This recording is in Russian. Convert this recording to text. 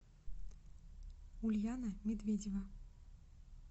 ульяна медведева